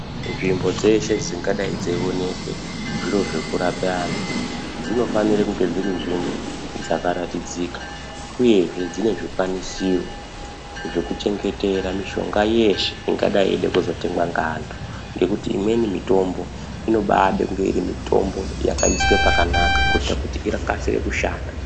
Nzvimbo dzeshe dzingadai dzeionekwe zviro zvokurape antu dzinofanire kunge dziri nzvimbo dzakaratidzika, uyezve dzine zvikwanisiro zvokuchengetera mishonga yeeshe ingadai yeida kuzotengwa ngeantu. Ngekuti imweni mitombo inobaade kunge iri mitombo yakaiswe pakanaka kuita kuti ikasire kushanda.